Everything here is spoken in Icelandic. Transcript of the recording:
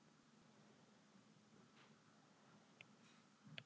Það er ekki langt að fara.